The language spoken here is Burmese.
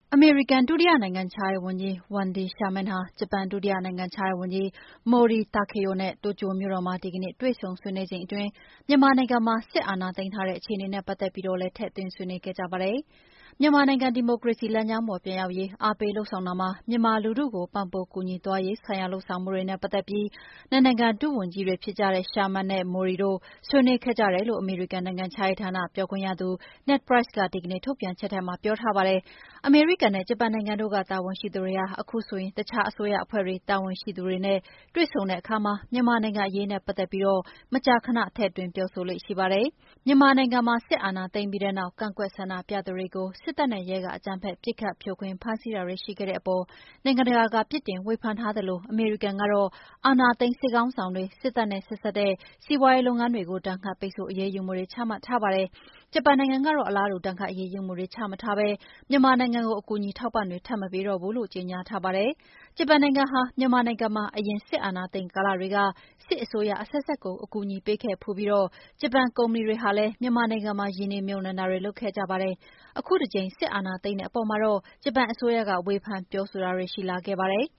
အမေရိကန် ဒုတိယနိုင်ငံခြားရေးဝန်ကြီး Wedny Sherman ဟာ ဂျပန် ဒုတိယနိုင်ငံခြားရေးဝန်ကြီး Mori Takeo နဲ့ တိုကျိုမြို့တော်မှာ ဒီကနေ့ တွေ့ဆုံဆွေးနွေးချိန်အတွင်း မြန်မာနိုင်ငံမှာ စစ်အာဏာသိမ်းထားတဲ့ အခြေအနေနဲ့ ပတ်သက်ပြီးတော့လည်း ထည့်သွင်း ဆွေးနွေးခဲ့ကြပါတယ်။ မြန်မာနိုင်ငံ ဒီမိုကရေစီလမ်းကြောင်းပေါ် ပြန်ရောက်ရေး အားပေးလုပ်ဆောင်တာမှာ မြန်မာလူထုကို ပံ့ပိုးကူညီသွားရေးဆိုင်ရာ လုပ်ဆောင်မှုတွေနဲ့ပတ်သက်ပြီး နှစ်နိုင်ငံ ဒုဝန်ကြီးတွေဖြစ်ကြတဲ့ Sherman နဲ့ Mori တို့ ဆွေးနွေးခဲ့ကြတယ်လို့ အမေရိကန်နိုင်ငံခြားရေးဌာန ပြောခွင့်ရ Ned Price က ဒီကနေ့ထုတ်ပြန်ချက်ထဲမှာ ပြောထားပါတယ်။ အမေရိကန်နဲ့ ဂျပန်နိုင်ငံတို့က တာဝန်ရှိသူတွေဟာ အခုလို တခြားအစိုးရအဖွဲ့တွေက တာဝန်ရှိသူတွေနဲ့ တွေ့ဆုံတဲ့အခါမှာ မြန်မာနိုင်ငံအရေးနဲ့ပတ်သက်ပြီး မကြာခဏ ထည့်သွင်းပြောဆိုလေ့ရှိပါတယ်။ မြန်မာနိုင်ငံမှာ စစ်အာဏာသိမ်းပြီးတဲ့နောက် ကန့်ကွက်ဆန္ဒပြသူတွေကို စစ်တပ်နဲ့ရဲက အကြမ်းဖက် ပစ်ခတ် ဖြိုခွဲ ဖမ်းဆီးတာတွေ ရှိခဲ့တဲ့အပေါ် နိုင်ငံတကာက ပြစ်တင် ဝေဖန်ထားသလို အမေရိကန်ကတော့ အာဏာသိမ်း စစ်ခေါင်းဆောင်တွေ၊ စစ်တပ်နဲ့ဆက်စပ်တဲ့ စီးပွားရေးလုပ်ငန်းတွေကို ဒဏ်ခတ် ပိတ်ဆို့ အရေးယူမှုတွေ ချမှတ်ထားပါတယ်။ ဂျပန်နိုင်ငံကတော့ အလားတူ ဒဏ်ခတ်အရေးယူမှုတွေ ချမထားဘဲ မြန်မာနိုင်ငံကို အကူအညီ အထောက်အပံ့တွေ ထပ်မပေးတော့ဘူးလို့ ကြေညာထားပါတယ်။ ဂျပန်နိုင်ငံဟာ မြန်မာနိုင်ငံမှာ အရင် စစ်အာဏာသိမ်း ကာလတွေက စစ်အစိုးရအဆက်ဆက်ကို အကူအညီပေးခဲ့ဖူးပြီး ဂျပန်ကုမ္ပဏီတွေဟာလည်း မြန်မာနိုင်ငံမှာ ရင်းနှီးမြှုပ်နှံတာတွေ လုပ်ခဲ့ကြပါတယ်။ အခုတကြိမ် စစ်တပ်အာဏာသိမ်းတဲ့အပေါ်မှာတော့ ဂျပန်အစိုးရက ဝေဖန် ပြောဆိုတာတွေ ရှိလာခဲ့ပါတယ်။